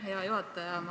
Aitäh, hea juhataja!